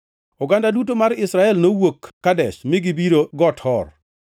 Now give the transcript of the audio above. Oganda duto mar Israel nowuok Kadesh mi gibiro Got Hor.